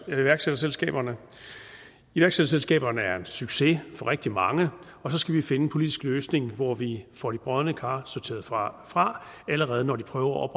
iværksætterselskaberne iværksætterselskaberne er en succes for rigtig mange og så skal vi finde en politisk løsning hvor vi får de brodne kar sorteret fra fra allerede når de prøver at